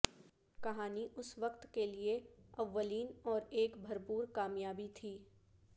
کہانی اس وقت کے لئے اولین اور ایک بھرپور کامیابی تھی